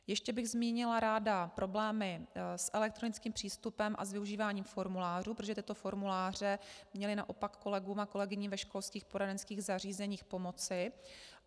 Ještě bych zmínila ráda problémy s elektronickým přístupem a s využíváním formulářů, protože tyto formuláře měly naopak kolegům a kolegyním ve školských poradenských zařízeních pomoci.